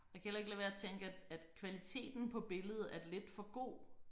Og jeg kan heller ikke lade være at tænke at at kvaliteten på billedet er lidt for god